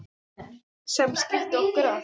sem skildi okkur að